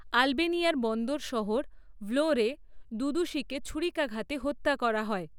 আলবেনিয়ার বন্দর শহর ভ্লোরে দুদুশিকে ছুরিকাঘাতে হত্যা করা হয়।